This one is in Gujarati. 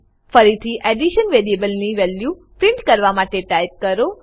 ફરીથી એડિશન વેરીએબલની વેલ્યુ પ્રિન્ટ કરવા માટેટાઈપ કરો